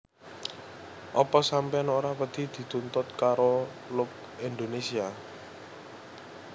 Opo sampeyan ora wedi dituntut karo Look Indonesia?